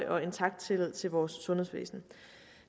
og intakt tillid til vores sundhedsvæsen